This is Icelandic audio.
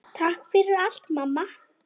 Takk fyrir allt, mamma.